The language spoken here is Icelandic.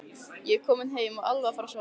Ég er kominn heim og alveg að fara að sofa.